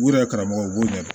U yɛrɛ karamɔgɔ u b'o ɲɛdɔn